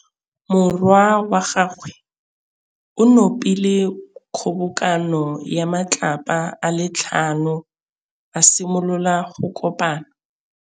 Morwa wa gagwe o nopile kgobokanô ya matlapa a le tlhano, a simolola go konopa.